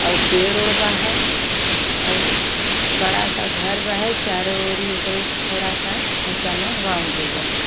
आउ पेड़-ओढ़ बा हई। आउ बड़ा सा घर बा हई चारो ओरी ओकरी थोड़ा सा ऊँचा में बाउंड्री बा हई।